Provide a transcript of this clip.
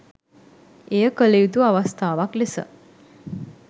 එය කළ යුතු අවස්ථාවක් ලෙස